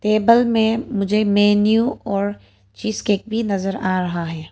Table में मुझे menu और चीज केक भी नजर आ रहा है।